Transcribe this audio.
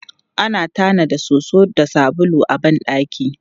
Ana tanada soso da sabulu a ban ɗaki.